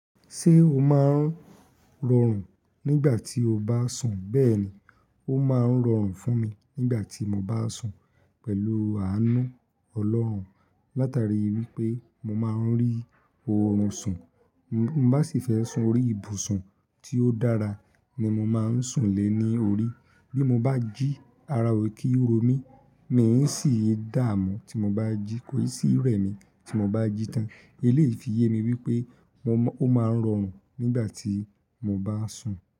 Ṣé o máa ń rọrùn nígbà tí o bá sùn? Bẹ́ẹ̀ni, ó máa ń rọrùn fún mi nígbà tí mo bá sùn pẹ̀lú àánú Ọlọ́run. Látari wipé mo máa ń rí oorun sùn. Mo bá sì fẹ́ sùn orí ibùsùn tí ó dára ni mo máa ń sùn lé ní orí. Bí mo bá jí ara òkin tò mí, mi sì ń dààmú tí mo bá jí kòrí sí rẹ̀mí tí mo bá jí tán. Eléfi yé mi wípé ó máa ń rọrùn nígbà tí mo bá sùn.